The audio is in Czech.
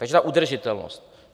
Takže ta udržitelnost.